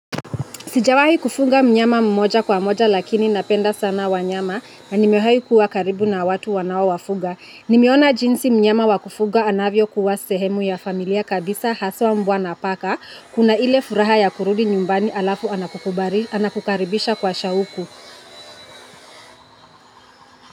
Sijawahi kufuga mnyama mmoja kwa mmoja lakini napenda sana wanyama na nimewahi kuwa karibu na watu wanaowafuga. Nimeona jinsi mnyama wa kufuga anavyokuwa sehemu ya familia kabisa haswa mbwa na paka. Kuna ile furaha ya kurudi nyumbani alafu anakukaribisha kwa shauku.